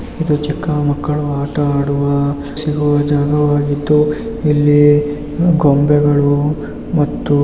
ಇದು ಚಿಕ್ಕ ಮಕ್ಕಳು ಆಟ ಆಡುವ ಸಿಗುವ ಜಾಗಾ ಆಗಿತ್ತು. ಇಲ್ಲಿ ಅ ಗೊಂಬೆಗಳು ಮತ್ತು--